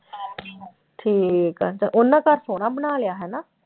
ਠੀਕ ਆ ਤੇ ਉਹਨਾਂ ਘਰ ਸੋਹਣਾ ਬਣਾ ਲਿਆ ਹਨਾ